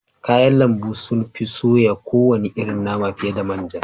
Kayan lambu sun fi soya kowane irin nama fiye da man ja